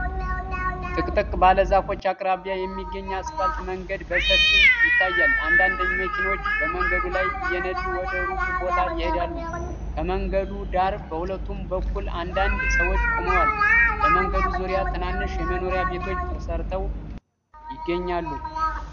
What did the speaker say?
ጥቅጥቅ ባለ ዛፎች አቅራቢያ የሚገኝ አስፋልት መንገድ በሰፊው ይታያል። አንዳንድ መኪናዎች በመንገዱ ላይ እየነዱ ወደ ሩቅ ቦታ ይሄዳሉ። ከመንገዱ ዳር በሁለቱም በኩል አንዳንድ ሰዎች ቆመዋል። በመንገዱ ዙሪያ ትናንሽ መኖሪያ ቤቶች ተሠርተው ይገኛሉ።